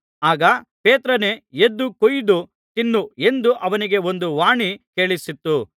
ಆಗ ಪೇತ್ರನೇ ಎದ್ದು ಕೊಯ್ದು ತಿನ್ನು ಎಂದು ಅವನಿಗೆ ಒಂದು ವಾಣಿ ಕೇಳಿಸಿತು